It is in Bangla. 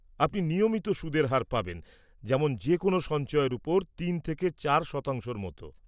আপনি নিয়মিত সুদের হার পাবেন, যেমন যে কোনো সঞ্চয়ের উপর তিন থেকে চার শতাংশর মতো।